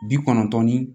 Bi kɔnɔntɔn ni